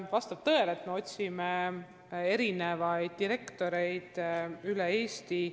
Vastab tõele, et me otsime direktoreid üle Eesti.